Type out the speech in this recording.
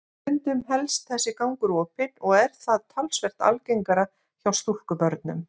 Stundum helst þessi gangur opinn og er það talsvert algengara hjá stúlkubörnum.